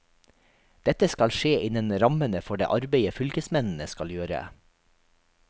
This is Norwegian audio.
Dette skal skje innen rammene for det arbeidet fylkesmennene skal gjøre.